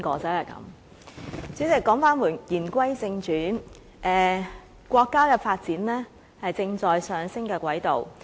代理主席，言歸正傳，國家的發展，正處於上升的軌道。